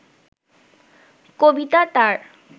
কবিতা তার